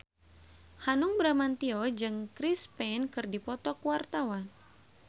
Hanung Bramantyo jeung Chris Pane keur dipoto ku wartawan